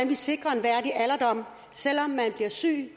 vi sikrer en værdig alderdom selv om man bliver syg